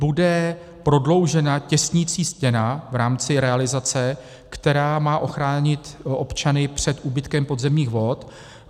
Bude prodloužena těsnicí stěna v rámci realizace, která má ochránit občany před úbytkem podzemních vod.